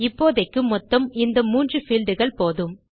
இப்போதைக்கு மொத்தம் இந்த 3 fieldகள் போதும்